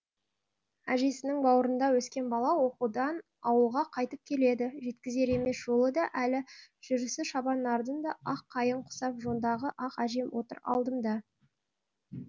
әжесінің бауырында өскен бала оқудан ауылға қайтып келеді жеткізер емес жолы да әлі жүрісі шабан нардың да ақ қайың құсап жондағы ақ әжем отыр алдымда